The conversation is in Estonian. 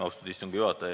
Austatud juhataja!